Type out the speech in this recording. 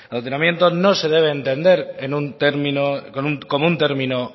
adoctrinamiento no se debe entender en un término como un término